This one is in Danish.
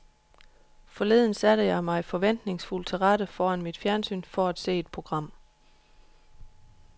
Forleden satte jeg mig forventningsfuld til rette foran mit fjernsyn for at se et program.